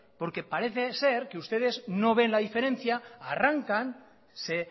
porque parece ser que ustedes no ven la diferencia arrancan se